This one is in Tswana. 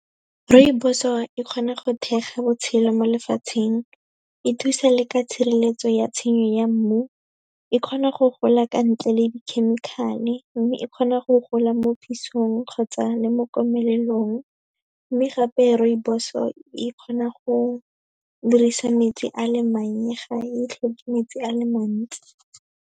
Rooibos-o e kgona go thekga botshelo mo lefatsheng. E thusa le ka tshireletso ya tshenyo ya mmu. E kgona go gola ka ntle le di-chemical-e, mme e kgona go gola mo pisong kgotsa le mo komelelong. Mme gape rooibos-o e kgona go dirisa metsi a le mannye, ga e tlhoke metsi a le mantsi.